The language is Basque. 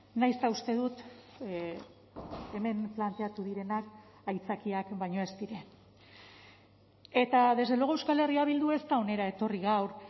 nahiz eta uste dut hemen planteatu direnak aitzakiak baino ez diren eta desde luego euskal herria bildu ez da hona etorri gaur